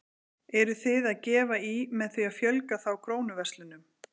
Eruð þið að gefa í með því að fjölga þá Krónuverslunum?